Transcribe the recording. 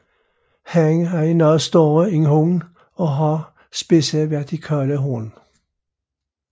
Hannen er noget større end hunnen og har spidse vertikale horn